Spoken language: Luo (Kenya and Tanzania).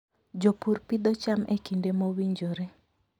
Jopur pidho cham e kinde mowinjore.